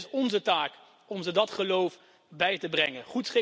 Dus het is onze taak om ze dat geloof bij te brengen.